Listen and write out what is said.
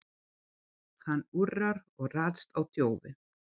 Hann urrar og ræðst á þjófinn.